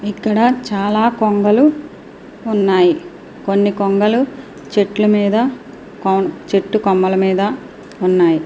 ఇక్కడ చాలా కొంగలు ఉన్నాయి. కొన్ని కొంగలు చెట్లు మీద చెట్టుకొమ్మల మీద ఉన్నాయి.